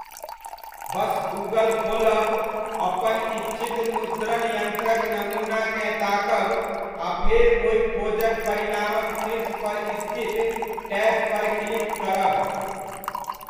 बस Google खोलब, अपन इच्छित मुद्रण यन्त्रक नमूनाकेँ ताकब आ फेर ओहि खोजक परिणामक शीर्ष पर स्थित टैब पर क्लिक करब।